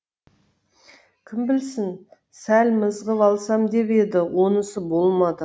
кім білсін сәл мызғып алсам деп еді онысы болмады